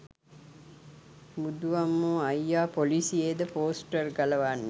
බුදු අම්මෝ අයියා පොලිසියේ ද පෝස්ටර් ගලවන්නේ?